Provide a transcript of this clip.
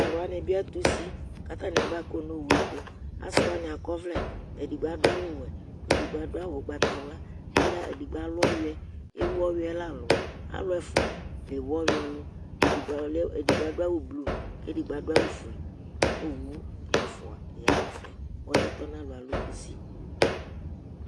talʊwanɩ ɓɩ atʊsɩ ƙatanɩ aɓa ƙɔnʊ owʊɛ tʊ asɩwanɩ aƙɔʋlɛ, edɩgɓo adʊ awʊ wɛ , edɩgɓo aɖʊawʊ ʊgɓatawla, ɔluɛ eɖigɓo alʊ ɔƴuɛ ewʊ ɔƴuɛla lʊ alʊ ɛfua lewʊ ɔƴuɛ lʊ edɩgɓo aɖʊ awʊ blʊ ƙedɩgɓo aɖʊ awʊ fue ƙowʊ ɛfʊa ƴanɛfɛ Ɔluɛ tɔnalɔ alʊ ƙʊsɩ